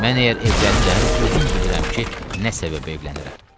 Mən əgər evlənirəm, özüm bilirəm ki, nə səbəbə evlənirəm.